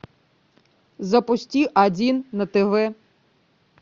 запусти один на тв